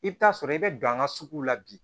I bɛ taa sɔrɔ i bɛ don an ka suguw la bi